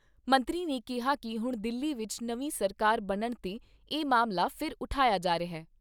ਮੰਤਰੀ ਨੇ ਕਿਹਾ ਕਿ ਹੁਣ ਦਿੱਲੀ ਵਿਚ ਨਵੀਂ ਸਰਕਾਰ ਬਣਨ ਤੇ ਇਹ ਮਾਮਲਾ ਫਿਰ ਉਠਾਇਆ ਜਾ ਰਿਹਾ।